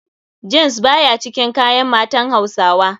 Jeans baya cikin kayan matan hausawa.